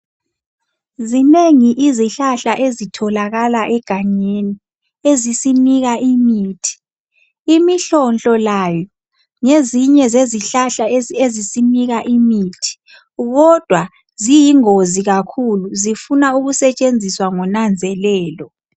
Zinengi izihlahla ezitholakala egangeni, ezisinika imithi imihlonhlo layo ngezinye zezihlahla ezisinika imithi kodwa ziyingozi kakhulu zifuna ukusetshenziswa ngonanzelelo.